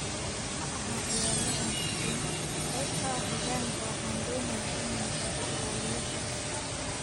"Ma ahaa ciyaaryahan xubin, qayb ka ah hoggaanka, waxaan doonayaa inaan tago ilaaliyo sharafta."